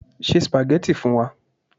Ṣé spaghetti fún wa